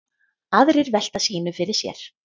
Aðrir velta sínu fyrir sér.